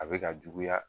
A bɛ ka juguya